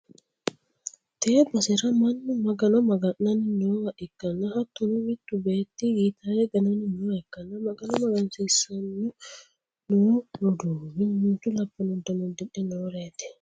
tee basera mannu magano maga'nanni noowa ikkanna hattono, mittu beetti gitaara gananni nooha ikkanna, magano magansiissanni noo roduuwi mimmito labbanno uddano uddidhe nooreeti.